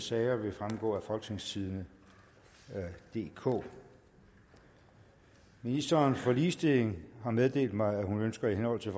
sager vil fremgå af folketingstidende DK ministeren for ligestilling har meddelt mig at hun ønsker i henhold til